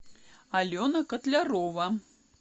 алена котлярова